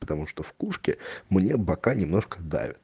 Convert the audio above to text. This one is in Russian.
потому что в пушке мне бока немножко давят